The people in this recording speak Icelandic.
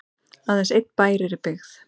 aðeins einn bær er í byggð